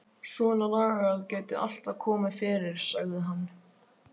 Svona lagað gæti alltaf komið fyrir, sagði hann.